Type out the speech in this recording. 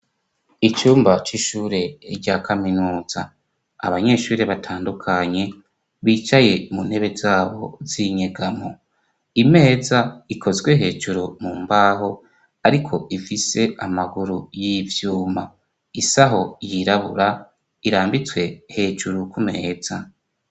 Icumba c'ishure rya kaminuza abanyeshuri batandukanye bicaye mu ntebe zabo zinyegamo imeza ikozwe hejuru mu mbaho, ariko ifise amaguru y'ivyuma isaho yirabura irambitswe hejuru kumeza.